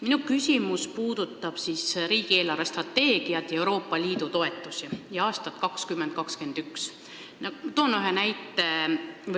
Minu küsimus puudutab riigi eelarvestrateegiat ja Euroopa Liidu toetusi aastatel 2020–2021.